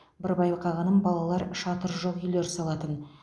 бір байқағаным балалар шатыры жоқ үйлер салатын